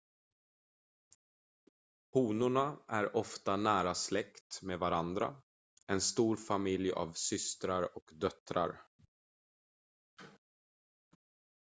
honorna är ofta nära släkt med varandra en stor familj av systrar och döttrar